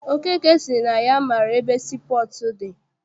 Okeke sịrị na ya maara ebe sii pọọtụ dị.